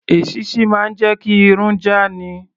Èṣíṣí máa ń jẹ́ kí irun já ni.